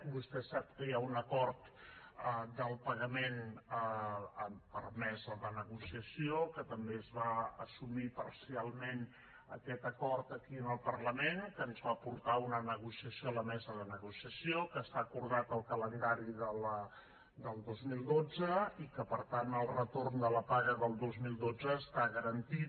vostè sap que hi ha un acord del pagament per mesa de negociació que també es va assumir parcialment aquest acord aquí en el parlament que ens va portar a una negociació a la mesa de negociació i que està acordat al calendari del dos mil dotze i que per tant el retorn de la paga del dos mil dotze està garantit